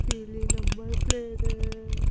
पीली number plate है।